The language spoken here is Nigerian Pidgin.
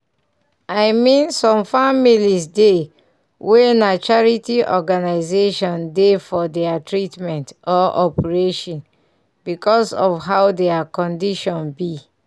i mean some families dey wey na charity organisaion dey for deir treatment or operation because of how deir condition be.